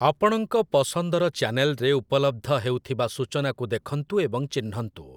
ଆପଣଙ୍କ ପସନ୍ଦର ଚ୍ୟାନେଲ୍‌ରେ ଉପଲବ୍ଧ ହେଉଥିବା ସୂଚନାକୁ ଦେଖନ୍ତୁ ଏବଂ ଚିହ୍ନନ୍ତୁ ।